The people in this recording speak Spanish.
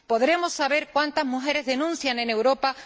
¿Podremos saber cuántas mujeres denuncian en Europa?